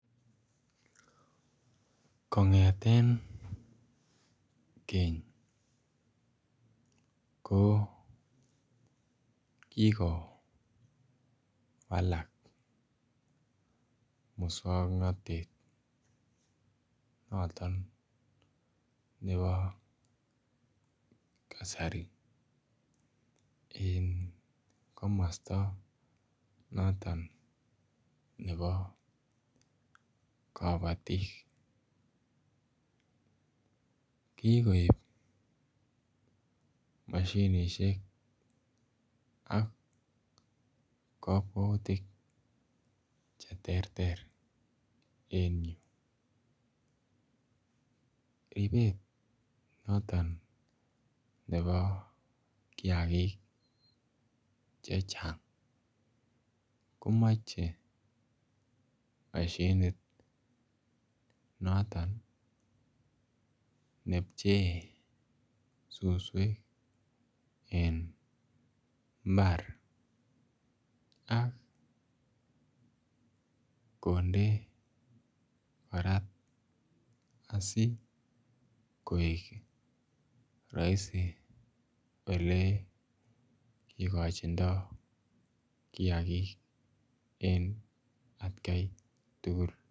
Kongeten Keny ko kigowalak muswongnotet noton nebo kasari en komosto noton nebo kobotik. Kigoib moshinishek ak kokwoutik che terter en yuu, ribet noton nebo kiagik chechang komoche moshinit noton ne pchee suswek en mbar ak konde korat asi koik roisi ole kigochindo kiagik en atkai tugul